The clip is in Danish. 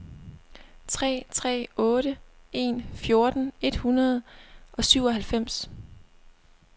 tre tre otte en fjorten et hundrede og syvoghalvfems